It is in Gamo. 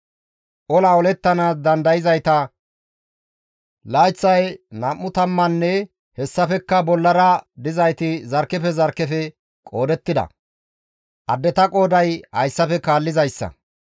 Ola olettanaas dandayzayta layththay nam7u tammaanne hessafekka bollara dizayti bantta zarkkefe zarkkefe qoodettida; addeta qooday hayssafe kaallizayssa;